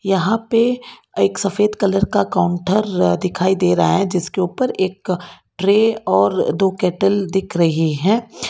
यहां पे एक सफेद कलर का काउंटर दिखाई दे रहा है जिसके ऊपर एक ट्रे और दो कैटल दिख रही है।